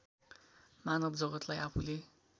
मानव जगत्‌लाई आफूले